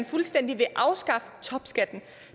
fuldstændig at afskaffe topskatten